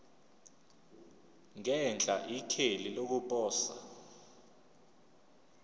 ngenhla ikheli lokuposa